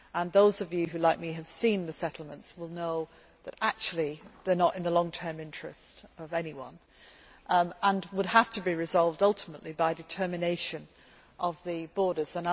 Those of you who, like me, have seen the settlements, will know that actually, they are not in anyone's long term interest and would have to be resolved ultimately by determination of the borders.